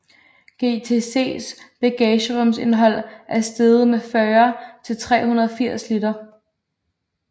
GTCs bagagerumsindhold er steget med 40 til 380 liter